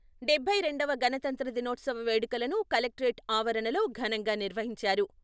డబ్బై రెండవ గణతంత్ర దినోత్సవ వేడుకలను కలెక్టరేట్ ఆవరణలో ఘనంగా నిర్వహించారు...